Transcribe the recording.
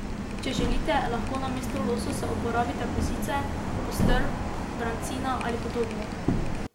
Če želite, lahko namesto lososa uporabite kozice, postrv, brancina ali podobno.